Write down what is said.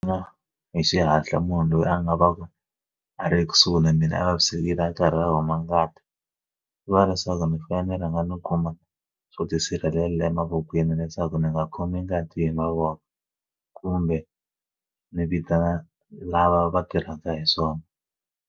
Mina hi xihatla munhu loyi a nga va a ri kusuhi na mina a vavisekile a karhi a huma ngati swi vula leswaku ni fanele ni rhanga ni khoma swo tisirhelela emavokweni leswaku ndzi nga khomi ngati hi mavoko kumbe ndzi vitana lava va tirhaka hi swona.